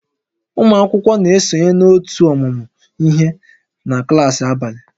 Ụmụ akwụkwọ na-esonye na ótú ọmụmụ ihe na klaasị abalị